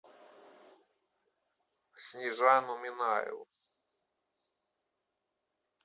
снежану минаеву